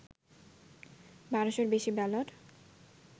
১২শ’-র বেশি ব্যালট